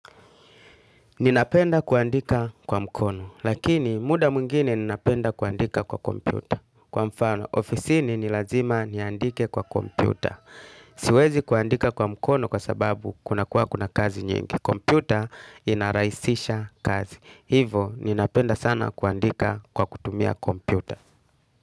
Ninapenda kuandika kwa mkono, lakini muda mwingine ninapenda kuandika kwa kompyuta. Kwa mfano, ofisini ni lazima niandike kwa kompyuta. Siwezi kuandika kwa mkono kwa sababu kuna kuwa kuna kazi nyingi. Kompyuta inarahisisha kazi. Hivo, ninapenda sana kuandika kwa kutumia kompyuta.